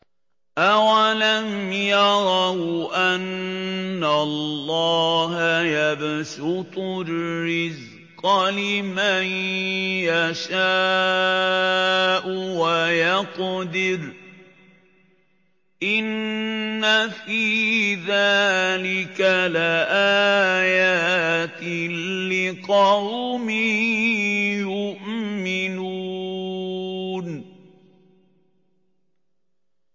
أَوَلَمْ يَرَوْا أَنَّ اللَّهَ يَبْسُطُ الرِّزْقَ لِمَن يَشَاءُ وَيَقْدِرُ ۚ إِنَّ فِي ذَٰلِكَ لَآيَاتٍ لِّقَوْمٍ يُؤْمِنُونَ